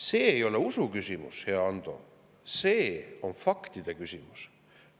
See ei ole usuküsimus, hea Ando, see on faktide küsimus.